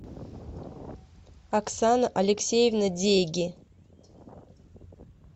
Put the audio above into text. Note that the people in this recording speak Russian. оксана алексеевна дейги